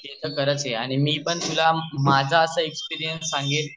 ते तर खरच यार मी पण तुला माझा असा एक्सपिरियन्स सांगेल